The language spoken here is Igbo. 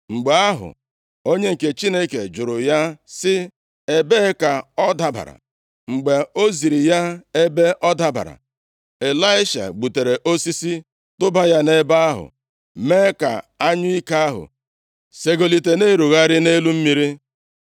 Mgbe ahụ, onye nke Chineke jụrụ ya sị, “Ebee ka ọ dabara?” Mgbe o ziri ya ebe ọ dabara, Ịlaisha gbutere osisi tụba ya nʼebe ahụ, mee ka anyụike ahụ segolite na-erugharị nʼelu mmiri.